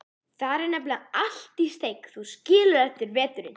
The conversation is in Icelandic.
Þar er nefnilega allt í steik, þú skilur, eftir veturinn.